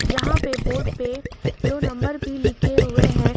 जहां पे बोर्ड पे दो नंबर भी लिखे हुए हैं।